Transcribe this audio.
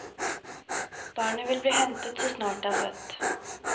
Barnet vil bli hentet så snart det er født.